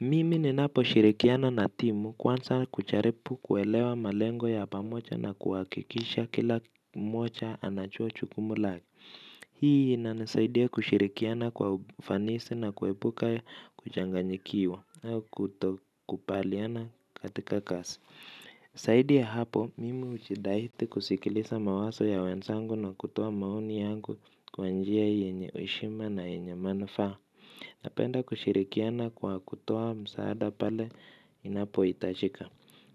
Mimi ninapo shirikiana na timu kwanza kujaripu kuelewa malengo ya pamoja na kuhakikisha kila mmoja anachua jukumu lake. Hii ina nisaidia kushirikiana kwa ufanisi na kuepuka kuchanganyikiwa au kutokupaliana katika kasi. Zaidi ya hapo mimi hujidahiti kusikiliza mawazo ya wenzangu kutoa maoni yangu kwa njia yenye heshima na yenye manufaa. Napenda kushirikiana kwa kutoa msaada pale inapo itajika.